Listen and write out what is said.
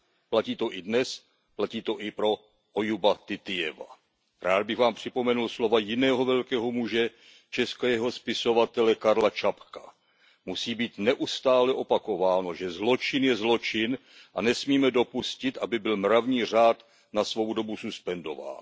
Platí to i dnes, platí to i pro Ojuba Titijeva. Rád bych vám připomenul slova jiného velkého muže, českého spisovatele Karla Čapka Musí být neustále opakováno, že zločin je zločin a nesmíme dopustit, aby byl mravní řád na svou dobu suspendován.